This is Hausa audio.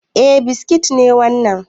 Eh biskit ne wannan